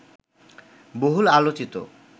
বহুল আলোচিত